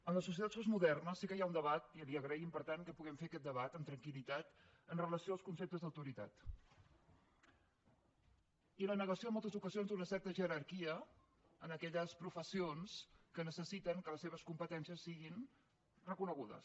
en les societats postmodernes sí que hi ha un debat i l’hi agraïm per tant que puguem fer aquest debat amb relació als conceptes d’autoritat i la negació en moltes ocasions a una certa jerarquia en aquelles professions que necessiten que les seves competències siguin reconegudes